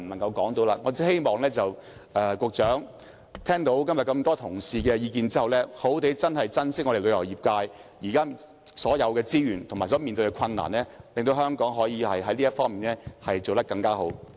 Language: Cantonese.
我只希望局長聽到今天眾多同事的意見後，好好珍惜旅遊業界現有的所有資源，解決所面對的困難，令香港可以在這方面做得更好。